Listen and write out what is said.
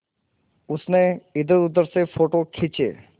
उसने इधरउधर से फ़ोटो खींचे